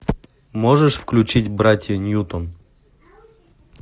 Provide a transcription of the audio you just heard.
можешь включить братья ньютон